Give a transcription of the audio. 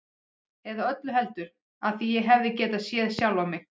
Eða öllu heldur: af því ég hefði getað séð sjálfan mig.